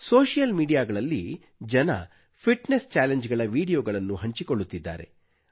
social ಮೀಡಿಯಾಗಳಲ್ಲಿ ಜನರು fitness challenge ಗಳ ವೀಡಿಯೊಗಳನ್ನು ಹಂಚಿಕೊಳ್ಳುತ್ತಿದ್ದಾರೆ